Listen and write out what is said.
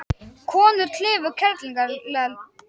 Konur klifu Kerlingareld